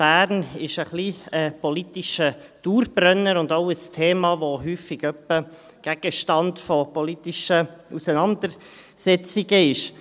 Bern ist ein wenig ein politischer Dauerbrenner und auch ein Thema, das häufig Gegenstand von politischen Auseinandersetzungen ist.